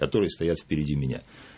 которые стоят впереди меня